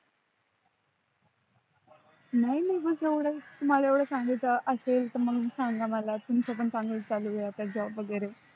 नाही नाही बस एवढंच, तुम्हाला एवढं सांगायच असेल तर मग सांगा मला तुमच पण चांगलच चालू आहे आता job वेगेरे